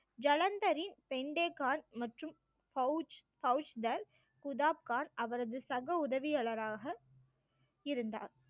ஜலந்தரின் பெயிண்டே கான், மற்றும் கௌச்~ கௌச்தர் குதாப்கார் அவரது சக உதவியாளராக இருந்தார்